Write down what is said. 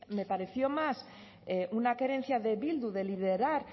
me pareció más una querencia de bildu de liderar